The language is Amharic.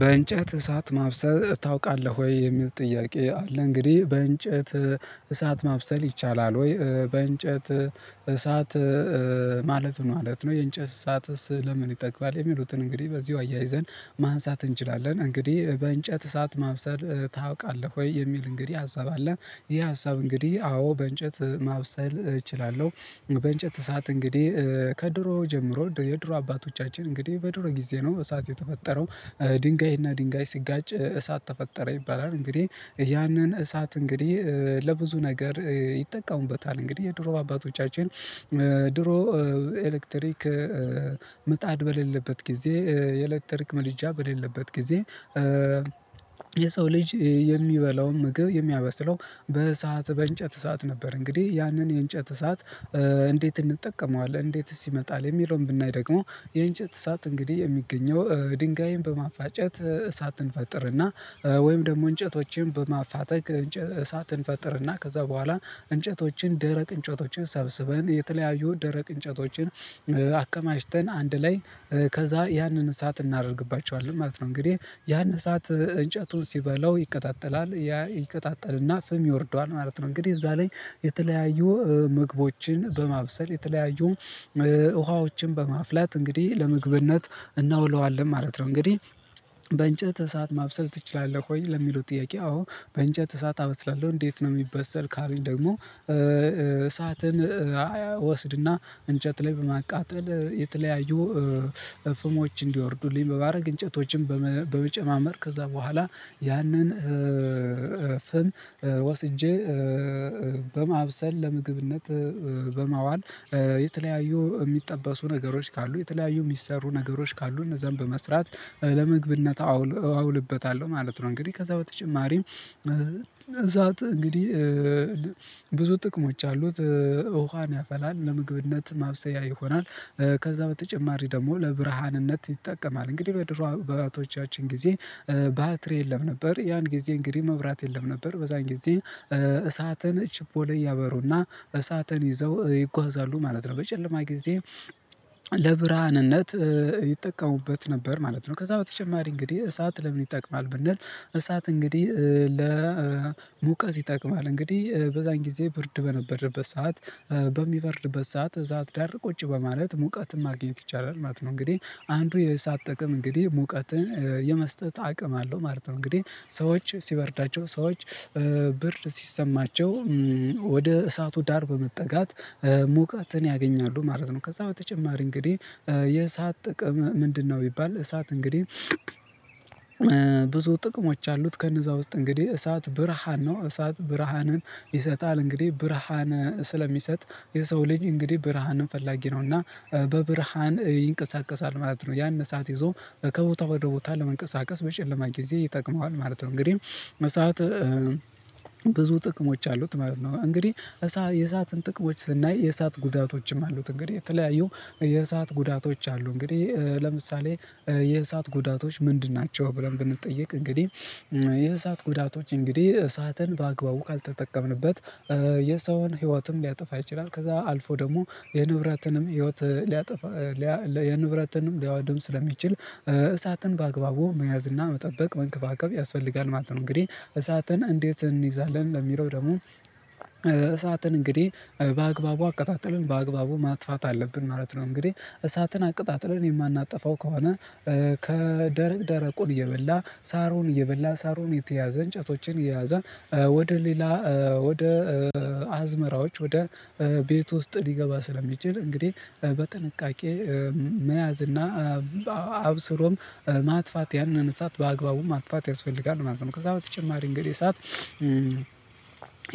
በእንጨት እሳት ማብሰል ታውቃለህ ወይ የሚል ጥያቄ አለ እንግዲህ በእንጨት እሳት ማብሰል ይቻላል ወይ በእንጨት እሳት ማለት ማለት ነው? የእንጨት እሳትስ ለምን የሚሉትን እንግዲህ በዚሁ አያይዘን ማህፀን እንችላለን እንግዲህ በእንጨት እሳት ማብሰል ታውቃለህ ወይ የሚል እንግዲህ ሀሳብ አለ? ይሄ ሀሳብ እንግዲህ አዎ በእንጨት ማብሰል እችላለሁ። በእንጨት እሳት እንግዲህ ከድሮ ጀምሮ የድሮ አባቶቻችን እንግዲህ በድሮ ጊዜ ነው እሳት የተፈጠረው። ድንጋይና ድንጋይ ሲጋጭ እሳት ተፈጠረ ይባላል እንግዲህ ያንን እሳት እንግዲህ ለብዙ ነገር ይጠቀሙበታል። እንግዲህ የድሮ በአባቶቻችን ድሮ ኤሌክትሪክ ምጣድ በሌለበት ጊዜ የኤሌክትሪክ ምጥጃ በሌለበት ጊዜ። የሰው ልጅ የሚበላውን ምግብ የሚያበስለው በሰአት በእንጨት እሳት ነበር እንግዲህ ያንን የእንጨት እሳት። እንዴት እንጠቀመዋለን እንዴት ሲመጣል የሚለውን ብናይ ደግሞ የእንጨት እሳት እንግዲህ የሚገኘው ድንጋይን በማፋጨት እሳትን እንፈጥርና ወይም ደግሞ እንጨቶችን በማፋጠቅ እንጨት እሳትን እንፈጥርና ከዛ በኋላ እንጨቶችን ደረቅ እንጨቶችን ሰብስበን የተለያዩ ደረቅ እንጨቶችን አከማችተን አንድ ላይ ከዛ ያንን እሳት እናደርግባቸዋለን ማለት ነው። እንግዲህ ያን እሳት እንጨቱን ሲበላው ይከታተላል ያ ይቀጣጥልና ፍም ይወርደዋል ማለት ነው። እንግዲህ እዛ ላይ የተለያዩ ምግቦችን በማብሰል የተለያዩ ውሃዎችን በማፍላት እንግዲህ ለምግብነት እናውለዋለን ማለት ነው። እንግዲህ በእንጨት እሳት ማብሰል ትችላለህ? ቆይ ለሚሉት ጥያቄ አዎ በእንጨት እሳት አበስላለሁ እንዴት ነው የሚበሰል ካሉኝ ደግሞ እሳትን እያወስድና እንጨት ላይ በማቃጠል የተለያዩ ፍሞች እንዲወርዱልኝ በማድረግ እንጨቶችን በመጨማመር ከዛ በኋላ ያንን ወስጄ በማብሰል ለምግብነት በማዋል የተለያዩ የሚጠበሱ ነገሮች ካሉ የተለያዩ የሚሰሩ ነገሮች ካሉ እነዛን በመስራት ለመግብነት አውልበታለሁ ማለት ነው። እንግዲህ ከዛ በተጨማሪም እት እንግዲህ ብዙ ጥቅሞች አሉት። ውሃን ያፈላል ለምግብነት ማብሰያ ይሆናል። ከዛ በተጨማሪ ደግሞ ለብርሃንነት ይጠቀማል እንግዲህ በድሮ በባቶቻችን ጊዜ ባትሪ የለም ነበር ያን ጊዜ እንግዲህ መብራት የለም ነበር። በዛን ጊዜ እሳተን ቺፖሌ ያበሩና እሳተን ይዘው ይጓዛሉ ማለት ነው በጨለማ ጊዜ ለብርሃንነት ይጠቀሙበት ነበር ማለት ነው። ከዛ በተጨማሪ እንግዲህ እሳት ለምን ይጠቅማል ብንል እሳት እንግዲህ ለሙቀት ይጠቅማል እንግዲህ በዛን ጊዜ ብርድ በነበረበት ሰዓት በሚበርድበት ሰዓት እሳት ዳር ቁጭ በማለት ሙቀትን ማግኘት ይቻላል ማለት ነው። እንግዲህ አንዱ የሳጥቅም እንግዲህ ሙቀትን የመስጠት አቅም አለው ማለት ነው። እንግዲህ ሰዎች ሲበርዳቸው ሰዎች ብርድ ሲሰማቸው ወደ እሳቱ ዳር በመጠጋት ሙቀትን ያገኛሉ ማለት ነው። ከዛ በተጨማሪ እንግዲህ የእሳት ጥቅም ምንድነው? ቢባል እሳት እንግዲህ ጥቅሞች አሉት ከነዛ ውስጥ እንግዲህ እሳት ብርሃን ነው። እሳት ብርሃንን ይሰጣል እንግዲህ ብርሃን ስለሚሰጥ የሰው ልጅ እንግዲህ ብርሃንን ፈላጊ ነውና በብርሃን ይንቀሳቀሳል ማለት ነው ያን እሳት ይዞ ከቦታ ወደ ቦታ ለመንቀሳቀስ በጨለማ ጊዜ ይጠቅመዋል ማለት ነው። እንግዲህ መሰዓት ብዙ ጥቅሞች አሉት ማለት ነው። እንግዲህ የእሳትን ጥቅሞች ስናይ የእሳት ጉዳቶችም አሉት እንግዲህ የተለያዩ የእሳት ጉዳቶች አሉ እንግዲህ ለምሳሌ የእሳት ጉዳቶች ምንድን ናቸው? ብለን ብንጠየቅ እንግዲህ የእሳት ጉዳቶች እንግዲህ እሳትን በአግባቡ ካልተጠቀምንበት የሰውን ህይወትም ሊያጠፋ ይችላል ከዛ አልፎ ደግሞ የንብረትንም ህይወት ሊያጠፋ የንብረትንም ሊያወድም ስለሚችል እሳትን በአግባቡ መያዝ እና መጠበቅ መንከባከብ ያስፈልጋል ማለት ነው። እንግዲህ እሳትን እንዴት እንይዛለን? ለሚለው ደግሞ እሳትን እንግዲህ በአግባቡ አቀጣጥለን በአግባቡ ማጥፋት አለብን ማለት ነው። እንግዲህ እሳትን አቅጣጥለን የማናጠፋው ከሆነ ከደረቅ ደረቁን እየበላ ሳሩን እየበላ ሳሩን የተያዘ እንጨቶችን የያዘን ወደ ሌላ ወደ አዝመራዎች ወደ ቤት ውስጥ ሊገባ ስለሚችል እንግዲህ በጥንቃቄ መያዝ እና አብስሮም ማጥፋት ያነን እሳት በአግባቡም ማጥፋት ያስፈልጋል ማለት ነው። ከዛ በተጨማሪ እንግዲህ ሰዓት